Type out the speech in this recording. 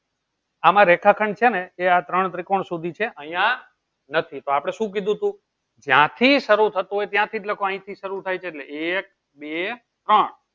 આમાં રેખાખંડ છેને એ આ ત્રોણ ત્રિકોણ સુધી જ છે. અહિયા નથી તો આપડે શું કીધુંતું જયાંથી સારું થતું હોય ત્યાંથી જ લખો અહીંથી સારું થાય છે એટલે એક બે ત્રોણ